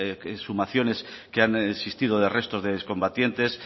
exhumaciones que han existido de restos de excombatientes